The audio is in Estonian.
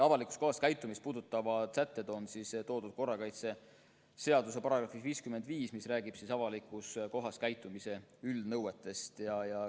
Avalikus kohas käitumist puudutavad sätted on kirjas korrakaitseseaduse §-s 55, mis räägib avalikus kohas käitumise üldnõuetest.